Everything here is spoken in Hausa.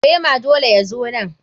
Rema dole ya zo nan.